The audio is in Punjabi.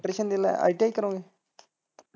electrision ਜਿਲਾ, ITI ਕਰੋਗੇ।